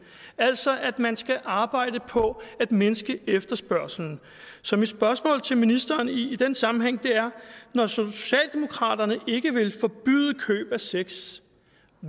altså at man skal arbejde på at mindske efterspørgslen så mit spørgsmål til ministeren i den sammenhæng er når socialdemokraterne ikke vil forbyde køb af sex